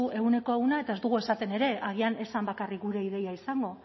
ehuneko ehuna eta ez dugu esaten ere agian ez zen bakarrik gure ideia izango